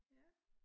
Ja